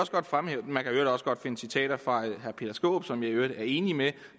man kan i øvrigt også godt finde citater fra herre peter skaarup som jeg i øvrigt er enig med